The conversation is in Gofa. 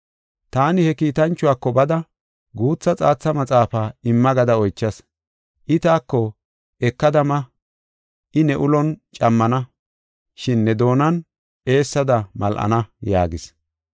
Taani he kiitanchuwako bada, guutha xaatha maxaafaa imma gada oychas. I taako, “Ekada ma; I ne ulon cammana, shin ne doonan eessada mal7ana” yaagis.